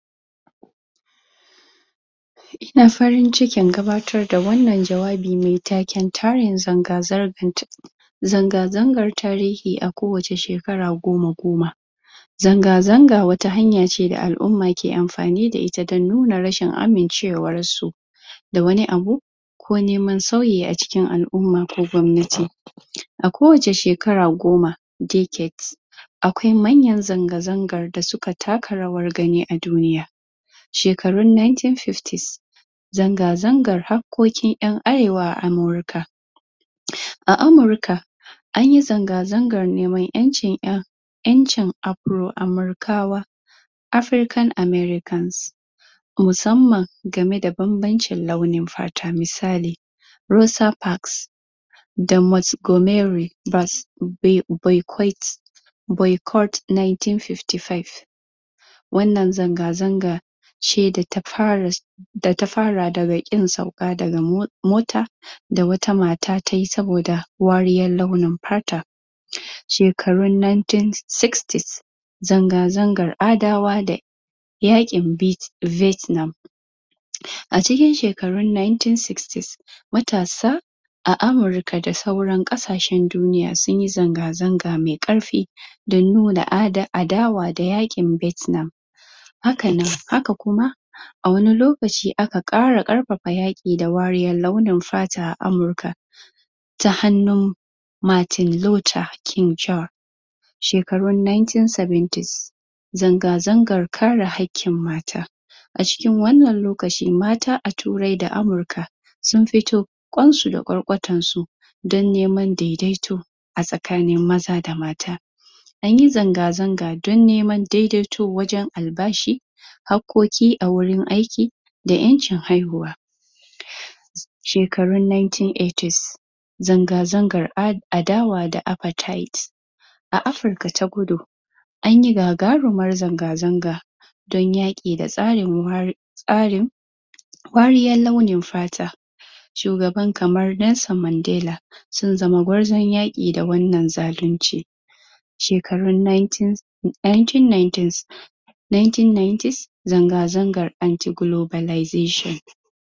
Ina farin cikin gabatar da wannan jawabi mai taken zanga zanga zanga zangar tarihi a ko wace shekara goma goma zanga zanga wata hanya ce da al'umma ke amfani da ita don nuna rashin amincewar su da wani abu ko neman sauyi a cikin al'umma a ko wace sheara goma (decade) akwai manyan zanga zangar da suka taka rawan gani a duniya shekarin 1950's Zanga zangan haƙoƙin ƴan arewa a amurka a amurka anyi zanga zangan neman ƴancin ƴan ƴancin afro amurkawa (african americans) Musamman gane da bambancin launin fata misali Rosa Parks?? Boycott 1955 wannan zanga zanga ce da ta fara da ta fara daga ƙin sauka daga mota da wata mata tayi saboda wariyar launin fata shekarun 1960s zanga zangar adawa da yaƙin vietnam a cikin shekarun 1960s matasa a amurka da sauran ƙasashen duniya sunyi zanga zanga mai ƙarfi don nuna adawa da yaƙin vietam haka nan haka kuma a wani lokaci aka ƙara ƙarfafa yaƙi da wariyar launin fata a amurka ta hannun Martin Luther King Jr. shekarun 1970s zanga zangar kare haƙƙin mata a cikin wannan lokaci mata a turai da Amurka sun fito ƙwansu da ƙwarƙwatan su don neman daidaito a tsakanin maza da mata anyi zanga zanga don neman daidaito wajen albashi haƙoƙi a wajen aiki da ƴancin haihuwa shekarun 1980s zanga zangar adawa da apartheid a afurka ta kudu an yi gagarumar zanga zanga don yaƙi da tsarin tsarin wariyar launin fata shugaba kamar Nelson Mandela sun zama gwarzon yaƙi da wannan zalinci shekarun 1990s 1990s zanga zangar anti-globalization